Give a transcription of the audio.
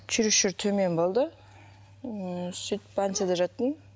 черезчур төмен болды ыыы сөйтіп больницада жаттым